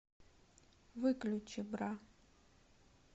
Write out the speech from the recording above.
выключи бра